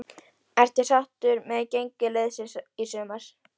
Ertu sáttur með gengi liðsins í sumar?